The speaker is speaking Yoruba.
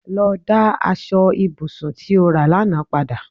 Lọ dá aṣọ ibùsùn tí o rà lánàá padà